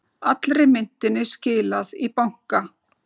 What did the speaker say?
Allri myntinni skilað í banka